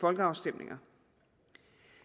folkeafstemninger